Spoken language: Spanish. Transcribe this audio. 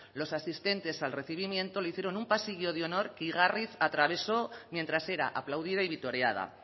los asistentes al recibimiento le hicieron un pasillo de honor que igarriz atravesó mientras era aplaudida y vitoreada